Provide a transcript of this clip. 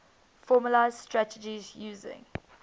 formalised strategies using